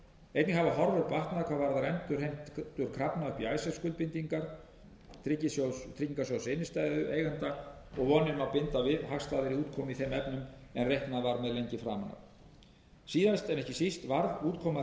einnig hafa horfur batnað hvað varðar endurheimtur krafna upp í icesave skuldbindingar tryggingarsjóðs innstæðueigenda og vonir má binda við hagstæðari útkomu í þeim efnum en reiknað var með lengi framan af síðast en ekki síst varð útkoma